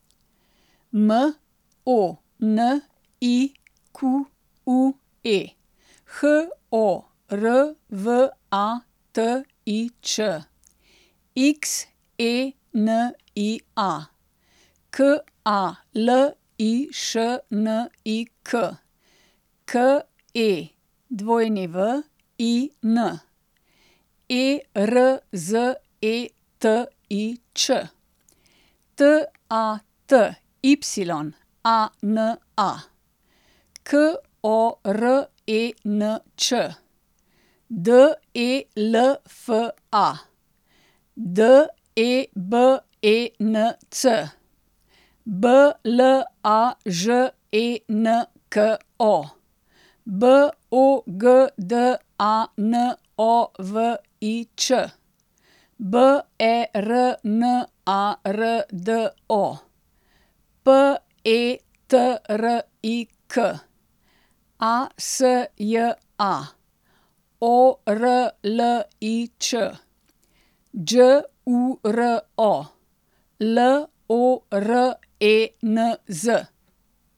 M O N I Q U E, H O R V A T I Ć; X E N I A, K A L I Š N I K; K E W I N, E R Z E T I Č; T A T Y A N A, K O R E N Č; D E L F A, D E B E N C; B L A Ž E N K O, B O G D A N O V I Č; B E R N A R D O, P E T R I K; A S J A, O R L I Ć; Đ U R O, L O R E N Z.